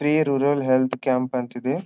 ಪ್ರಿಯ rural health camp ಅಂತ ಇದೆ.